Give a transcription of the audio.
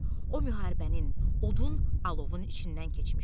O müharibənin odun, alovun içindən keçmişdi.